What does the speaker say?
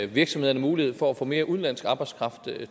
virksomhederne mulighed for at få mere udenlandsk arbejdskraft